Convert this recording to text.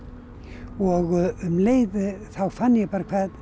og um leið þá fann ég bara